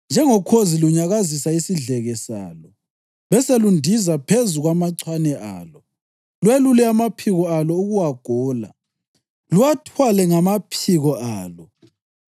njengokhozi lunyakazisa isidleke salo, beselundiza phezu kwamachwane alo, lwelule amaphiko alo ukuwagola, luwathwale ngamaphiko alo.